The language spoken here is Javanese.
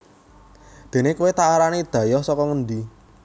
déné kowé tak arani dhayoh saka ngendi